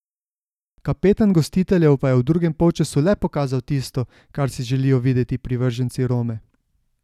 Kapetan gostiteljev pa je v drugem polčasu le pokazal tisto, kar si želijo videti privrženci Rome.